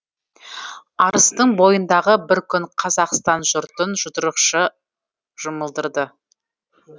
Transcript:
арыстың бойындағы бір күн қазақстан жұртын жұдырықша жұмылдырды